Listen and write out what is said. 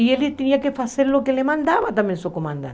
E ele tinha que fazer o que mandava também seu comandante.